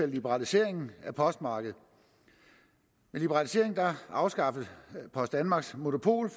liberaliseringen af postmarkedet med liberaliseringen afskaffes post danmarks monopol